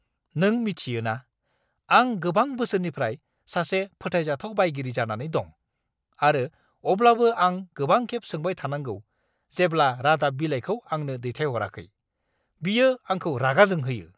नों मिथियो ना, आं गोबां बोसोरनिफ्राय सासे फोथायजाथाव बायगिरि जानानै दं, आरो अब्लाबो आं गोबांखेब सोंबाय थानांगौ, जेब्ला रादाब बिलाइखौ आंनो दैथायहराखै। बियो आंखौ रागा जोंहोयो!